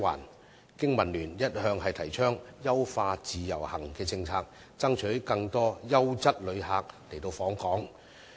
香港經濟民生聯盟一向提倡優化自由行政策，爭取更多優質旅客訪港。